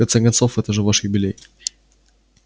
в конце концов это же ваш юбилей